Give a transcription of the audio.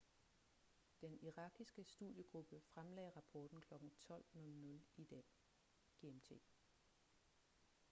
den irakiske studiegruppe fremlagde rapporten kl. 12.00 i dag gmt